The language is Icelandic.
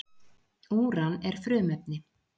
Úran er frumefni.